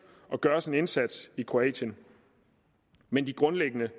og gøres en indsats i kroatien men de grundlæggende